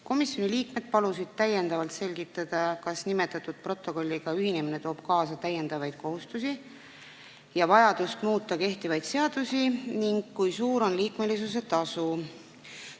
Komisjoni liikmed palusid täiendavalt selgitada, kas nimetatud protokolliga ühinemine toob kaasa täiendavaid kohustusi ja vajadust muuta kehtivaid seadusi ning kui suur on liikmelisuse tasu.